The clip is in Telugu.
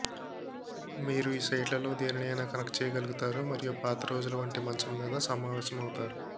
మీరు ఈ సైట్లలో దేనినైనా కనెక్ట్ చేయగలుగుతారు మరియు పాత రోజులు వంటి మంచం మీద సమావేశమవుతారు